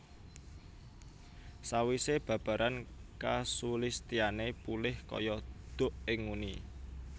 Sawisé babaran kasulistyané pulih kaya duk ing nguni